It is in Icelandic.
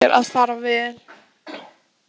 Þetta á eftir að fara vel.